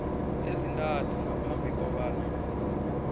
ezintathu ngaphambi kobana